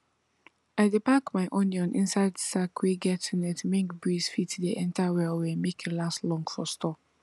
i dey pack my onion inside sack wey get net make breeze fit dey enter well well make e last long for store